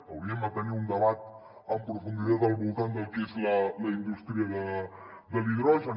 hauríem de tenir un debat en profunditat al voltant del que és la indústria de l’hidrogen